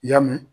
Y'a mɛn